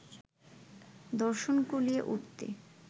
দর্শন কুলিয়ে উঠতে